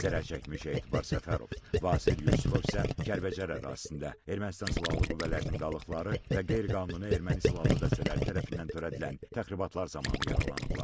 Zərərçəkmiş Etibar Səfərov, Vasif Yusifov isə Kəlbəcər ərazisində Ermənistan silahlı qüvvələrinin qalıqları və qeyri-qanuni erməni silahlı dəstələri tərəfindən törədilən təxribatlar zamanı yaralanıblar.